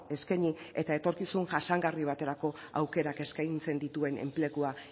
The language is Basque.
eskaini eta etorkizun jasangarri baterako aukerak eskaintzen dituen enplegua